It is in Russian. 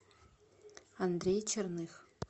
андрей черных